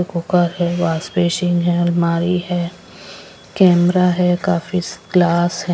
Cooker है wash basin है अलमारी है कैमरा है काफी क्लास है.